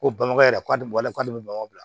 Ko bamakɔ yɛrɛ k'ale b'a la k'ale bɛ bamakɔ yan